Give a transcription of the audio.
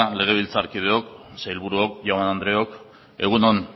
legebiltzarkideok sailburuok jaun andreok egun on